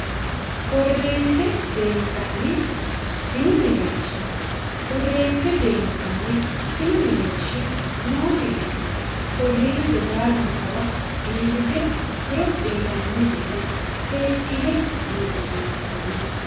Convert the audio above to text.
korreente beenkanni sinu mereersha korreente beenkanni sinu mereershi noosi gede korreente baalankawa iillite horo uyitanno gede seekkine buuxisiinsanni